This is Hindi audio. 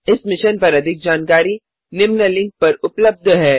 इस मिशन पर अधिक जानकारी निम्न लिंक पर उपलब्ध है